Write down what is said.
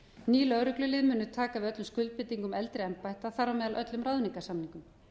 ný lögreglulið munu taka við öllum skuldbindingum eldri embætta þar á meðal öllum ráðningarsamningum